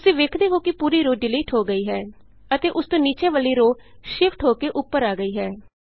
ਤੁਸੀਂ ਵੇਖਦੇ ਹੋ ਕਿ ਪੂਰੀ ਰੋਅ ਡਿਲੀਟ ਹੋ ਗਈ ਹੈ ਅਤੇ ਉਸ ਤੋਂ ਨੀਚੇ ਵਾਲੀ ਰੋਅ ਸ਼ਿਫਟ ਹੋ ਕੇ ਉਪਰ ਆ ਗਈ ਹੈ